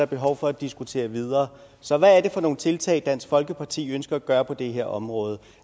behov for at diskutere videre så hvad er det for nogle tiltag dansk folkeparti ønsker at gøre på det her område